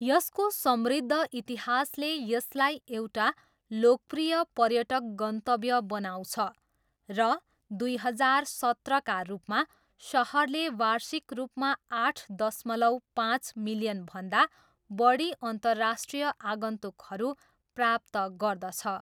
यसको समृद्ध इतिहासले यसलाई एउटा लोकप्रिय पर्यटक गन्तव्य बनाउँछ र दुई हजार सत्रका रूपमा, सहरले वार्षिक रूपमा आठ दशमलव पाँच मिलियनभन्दा बढी अन्तर्राष्ट्रिय आगन्तुकहरू प्राप्त गर्दछ।